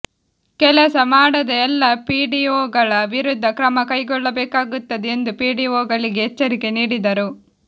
ಕೆಲಸ ಮಾಡದ ಎಲ್ಲ ಪಿಡಿಒಗಳ ವಿರುದ್ಧ ಕ್ರಮ ಕೈಗೊಳ್ಳಬೇಕಾಗುತ್ತದೆ ಎಂದು ಪಿಡಿಒ ಗಳಿಗೆ ಎಚ್ಚರಿಕೆ ನೀಡಿದರು